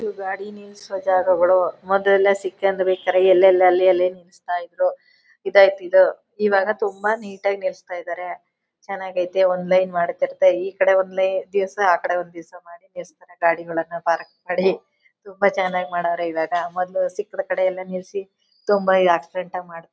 ಈ ಗಾಡಿ ನಿಲ್ಲಿಸೋ ಜಾಗಗಳು ಮೊದಲೆಲ್ಲ ಸಿಕ್ಕಂಡ್ರೆ ಎಲ್ಲಂದ್ರೆ ಅಲ್ಲಿ ಅಲ್ಲಿ ನಿಲ್ಲಿಸ್ತಾ ಇದ್ರು . ಇದಾಯಿತು ಇದು ಇವಾಗ ತುಮ ನೇಟ್ ಆಗಿ ನಿಲ್ಲಿಸ್ತಾ ಇದ್ದಾರೆ . ಚೆನ್ನಾಗೈತೆ ಒಂದು ಲೈನ್ ಮಾಡಿ ಕೊಟ್ಟು ಈ ಕಡೆ ಒಂದು ದಿವಸ ಆ ಕಡೆ ಒಂದು ದಿವಸ ಮಾಡಿ ದೇವಸ್ಥಾನ ಗಾಡಿಗಳನ್ನ ಪಾರ್ಕ್ ಮಾಡಿ ತುಂಬಾ ಚೆನ್ನಾಗಿ ಮಾಡ್ಯಾರೆ ಇವಾಗ. ಮೊದ್ಲೆಲ್ಲಾ ಸಿಕ್ಕಿದ ಕಡೆ ಎಲ್ಲ ನಿಲ್ಲಿಸಿ ತುಂಬಾ ಆಕ್ಸಿಡ್ಡೆಂಟ್ ಮಾಡ್--